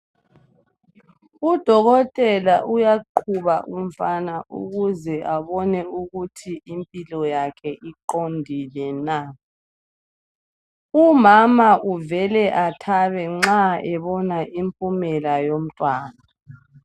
Udokotela uyaqhuba umfana ukuze abone ukuthi impilo yakhe iqondile na. Umama uvele athabe nxa ebona impumela yomntwana